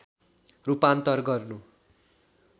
रूपान्तर गर्नु